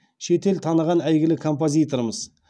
шет ел таныған әйгілі композиторымыз